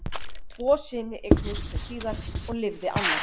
tvo syni eignuðust þau síðar og lifði annar